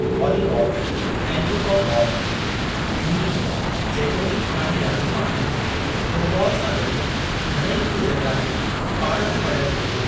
Volleyball ऐं newcomb ball बि॒न्ही, जेतोणीक पुराणी रांदियूं आहिनि, थ्रोबॉल सां गॾु घणेई हिकजहिड़ायूं पाणि में वंडनि थियूं।